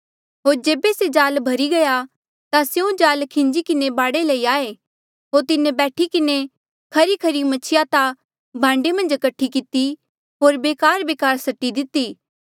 होर जेबे से जाल भर्ही गया ता स्यों जाल खिन्जी किन्हें बाढे लई आये होर तिन्हें बैठी किन्हें खरीखरी मछिया ता भांडे मन्झ कठी किती होर बेकारबेकार सटी दिती